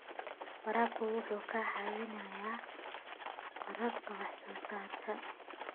Waraabka wuxuu caawiyaa kororka wax soo saarka.